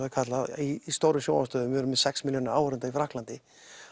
er kallað í stóru sjónvarpsstöðvunum við erum með sex milljónir áhorfenda í Frakklandi